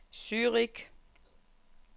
Zürich